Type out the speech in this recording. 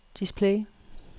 display